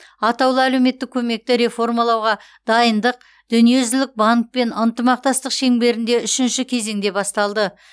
атаулы әлеуметтік көмекті реформалауға дайындық дүниежүзілік банкпен ынтымақтастық шеңберінде үшінші кезеңде басталды